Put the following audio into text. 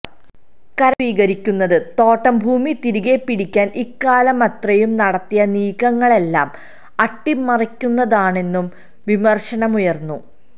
കരം സ്വീകരിക്കുന്നത് തോട്ടംഭൂമി തിരികെപ്പിടിക്കാന് ഇക്കാലമത്രയും നടത്തിയ നീക്കങ്ങളെല്ലാം അട്ടിമറിക്കുന്നതാണെന്നും വിമര്ശനമുയര്ന്നു